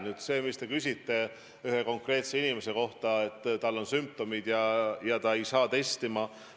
Nüüd, te küsisite ühe konkreetse inimese kohta, kel on sümptomid, aga ta ei saa testima.